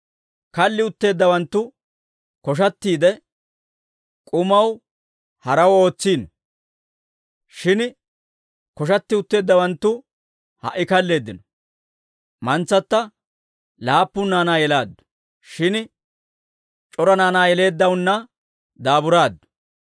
Kalli utteeddawanttu koshatiidde, K'umaw haraw ootsiino; shin koshatti utteeddawanttu ha"i kalleeddino. Mantsatta laappun naanaa yelaaddu; shin c'ora naanaa yeleeddaanna daaburaaddu.